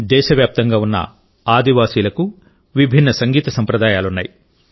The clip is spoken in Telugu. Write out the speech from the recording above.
దేశవ్యాప్తంగా ఉన్న గిరిజనులకు విభిన్నసంగీత సంప్రదాయాలున్నాయి